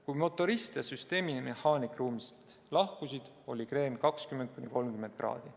Kui motorist ja süsteemimehaanik ruumist lahkusid, oli kreen 20–30 kraadi.